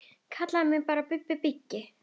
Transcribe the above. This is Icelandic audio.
Kallið mig bara Bubba byggi.